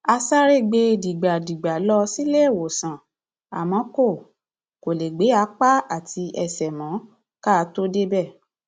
a sáré gbé e dìgbàdìgbà lọ síléèwòsàn àmọ kó kó lè gbé apá àti ẹsẹ mọ ká tóó débẹ